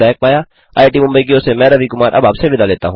IIT Mumbai की ओर से मैं रवि कुमार अब आपसे विदा लेता हूँ